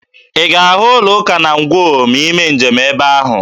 Ị ga-ahụ ụlọụka na Ngwo ma ị mee njem ebe ahụ.